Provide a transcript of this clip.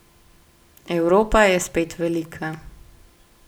Evropa je spet velika!